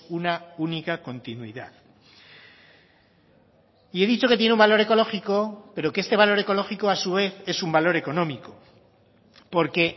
una única continuidad y he dicho que tiene un valor ecológico pero que este valor ecológico a su vez es un valor económico porque